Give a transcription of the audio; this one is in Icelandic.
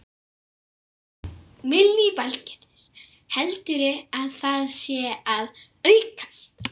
Lillý Valgerður: Heldurðu að það sé að aukast?